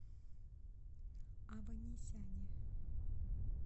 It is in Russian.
аванесяне